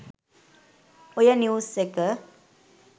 ඔය නිව්ස් එක